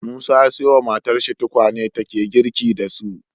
Musa ya siyo wa matarsa tukwane take girki da su